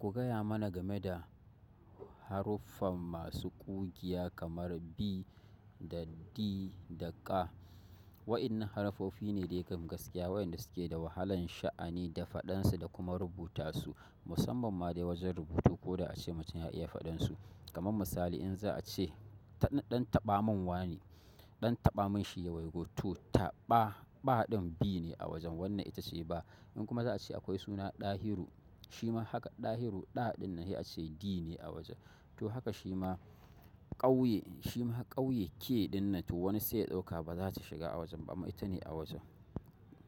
Ku gaya mana game da haruffa masu ƙugiya kamar b da d da k. Waɗannan haruffofi ne da yakan gaskiya waɗanda suke da wahalan sha'ani da faɗan su da kuma rubuta su, musamman ma dai wajen rubutu. Ko da ace mutum ya iya faɗan su, kamar misali in za a ce ɗan taɓa man wane, ɗan taɓa man shi ya waigo to taɓa, ba ɗin B ne a wajen wannan ita ce ba. In kuma za a ce akwai suna Ɗahiru, shi ma haka. Ɗahiru, ɗa ɗin nan sai ace D ne a wajen. To haka shi ma ƙauye, shi ma ƙauye, K ɗin nan to wani sai ɗauka ba za ta shiga a wajen ba, amma ita ne a wajen.